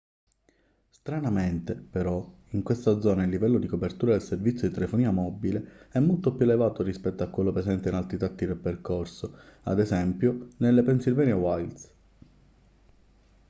stranamente però in questa zona il livello di copertura del servizio di telefonia mobile è molto più elevato rispetto a quello presente in altri tratti del percorso ad esempio nelle pennsylvania wilds